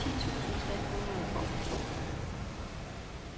ti tusind tre hundrede og to